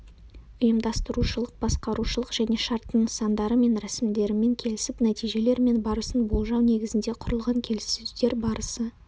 ұйымдастырушылық басқарушылық және шарттың нысандары мен рәсімдерімен келісіп нәтижелер мен барысын болжау негізінде құрылған келіссөздер барысы